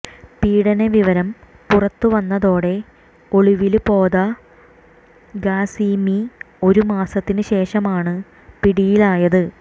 പീഡന വിവരം പുറത്തു വന്നതോടെ ഒളിവില് പോത ഖാസിമി ഒരു മാസത്തിന് ശേഷമാണ് പിടിയിലായത്